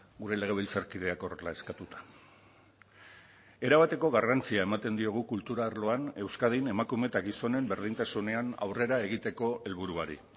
gure legebiltzarkideak horrela eskatuta erabateko garrantzia ematen diogu kultura arloan euskadin emakume eta gizonen berdintasunean aurrera egiteko helburuari